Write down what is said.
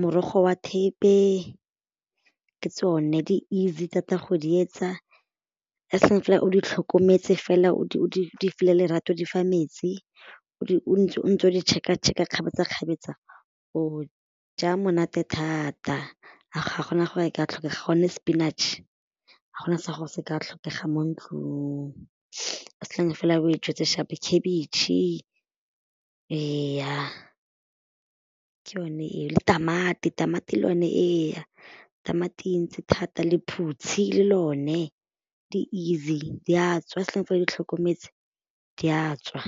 morogo wa thepe ke tsone di easy thata go di etsa as fela o di tlhokometse fela o file lerato o di fa metsi o ntse o ntse o di check-a check-a o ja monate thata a ga go na gore ka tlhokega gonne spinach ga go na se se ka tlhokega mo ntlong as long fela o e jetse sharp, khabetšhe ee, ke yone eo le tamati, tamati le yone ee, tamati e ntsi thata lephutshi le lone di easy di a tswa as long as o di tlhokometse di a tswa.